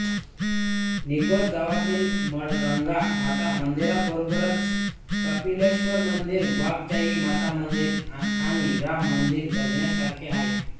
निघोज गावात मळगंगा माता मंदिराबरोबरच कपिलेश्वर मंदिर वाघजाई माता मंदिर आणि राम मंदिर बघण्यासारखी आहेत